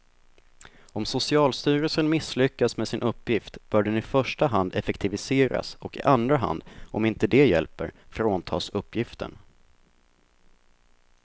Om socialstyrelsen misslyckas med sin uppgift bör den i första hand effektiviseras och i andra hand, om inte det hjälper, fråntas uppgiften.